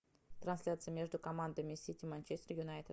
трансляция между командами сити манчестер юнайтед